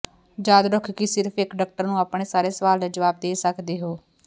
ਯਾਦ ਰੱਖੋ ਕਿ ਸਿਰਫ ਇੱਕ ਡਾਕਟਰ ਨੂੰ ਆਪਣੇ ਸਾਰੇ ਸਵਾਲ ਦੇ ਜਵਾਬ ਦੇ ਸਕਦੇ ਹੋ